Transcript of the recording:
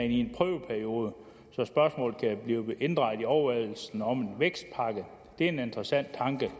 i en prøveperiode så spørgsmålet kan blive inddraget i overvejelserne om en vækstpakke det er en interessant tanke